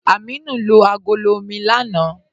Ámínù lo agọ̀lọ̀ omi lánà.